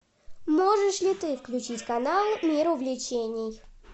можешь ли ты включить канал мир увлечений